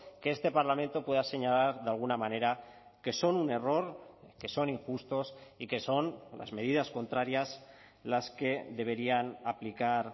que este parlamento pueda señalar de alguna manera que son un error que son injustos y que son las medidas contrarias las que deberían aplicar